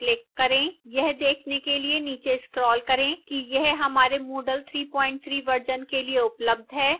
यह देखने के लिए नीचे scroll करें कि यह हमारे moodle 33 version के लिए उपलब्ध है